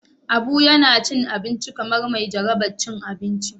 Abu yana cin abinci kamar mai jaraban cin abinci.